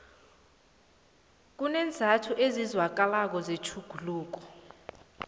kuneenzathu ezizwakalako zetjhuguluko